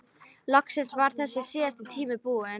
Loksins var þessi síðasti tími búinn.